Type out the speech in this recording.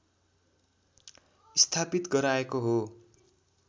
स्थापित गराएको हो